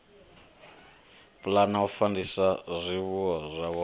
pulana u fandisa zwifuwo zwavho